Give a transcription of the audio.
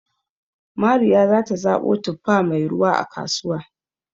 Mariya za ta zaɓo tuffa mai ruwa, a kasuwa